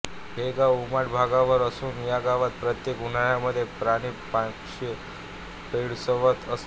हे गाव उमाठ भागावर असून या गावात प्रत्येक उन्हाळ्यामध्ये पाणी प्रश्न भेडसावत असतो